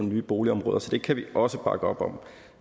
nye boligområder så det kan vi også bakke op om